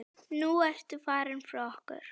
Nú ertu farin frá okkur.